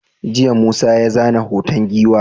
jiya Musa ya zana hoton giwa